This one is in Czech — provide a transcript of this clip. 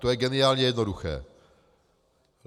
To je geniálně jednoduché.